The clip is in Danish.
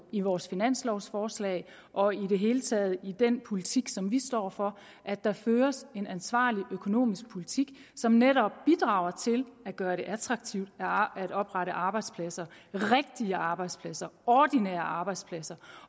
i vores finanslovforslag og i det hele taget i den politik som vi står for har at der føres en ansvarlig økonomisk politik som netop bidrager til at gøre det attraktivt at oprette arbejdspladser rigtige arbejdspladser ordinære arbejdspladser